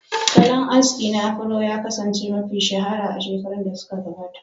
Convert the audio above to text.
Salon aski na Afuro ya kasance mafi shahara a shekarun da suka gabata.